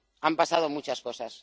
Han pasado muchas cosas.